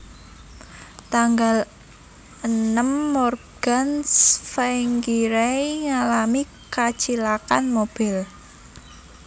Tanggal enem Morgan Tsvangirai ngalami kacilakan mobil